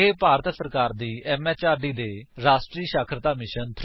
ਇਹ ਭਾਰਤ ਸਰਕਾਰ ਦੀ ਐਮਐਚਆਰਡੀ ਦੇ ਰਾਸ਼ਟਰੀ ਸਾਖਰਤਾ ਮਿਸ਼ਨ ਥ੍ਰੋ ਆਈਸੀਟੀ ਰਾਹੀਂ ਸੁਪੋਰਟ ਕੀਤਾ ਗਿਆ ਹੈ